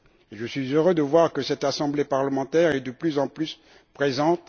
Je suis heureux de voir que cette assemblée parlementaire est de plus en plus présente.